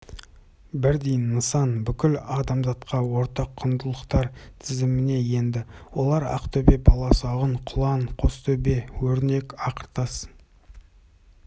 бірдей нысан бүкіл адамзатқа ортақ құндылықтар тізіміне енді олар ақтөбе баласағұн құлан қостөбе өрнек ақыртас